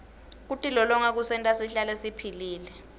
kutilolonga kusenta sihlale siphilile